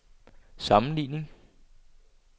sammenligning